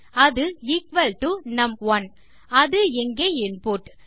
அது equal to நும்1 அது இங்கே இன்புட்